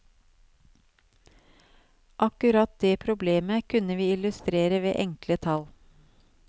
Akkurat det problemet kunne vi illustrere ved enkle tall.